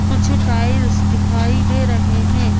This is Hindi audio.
कुछ टाइल्स दिखाई दे रहे हैं।